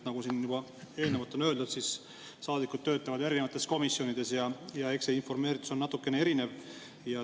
Nagu siin juba eelnevalt on öeldud, saadikud töötavad erinevates komisjonides ja eks see informeeritus on natukene erinev.